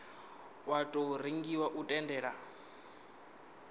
wa tou rengiwa u tendela